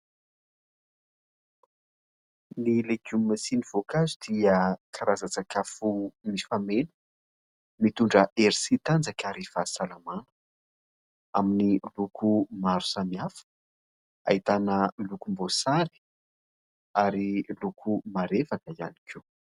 ny lekoma siany voakazo dia karazajsakafo mifameno mitondra ersitanjakaryfa salamana amin'ny loko maro samiafa ahitana lokom-bosary ary loko marefaka ihany ko